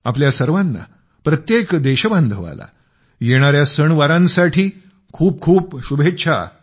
आपल्या सर्वांना प्रत्येक देशबांधवाला येणाऱ्या सणवारांसाठी खूप खूप शुभेच्छा